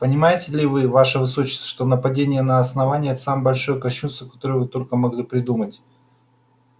понимаете ли вы ваше высочество что нападение на основание это самое большое кощунство которое вы только могли придумать